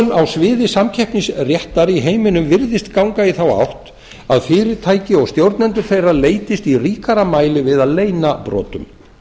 þróun á sviði samkeppnisréttar í heiminum virðist ganga í þá átt að fyrirtæki og stjórnendur þeirra leitist í ríkara mæli við að leyna brotum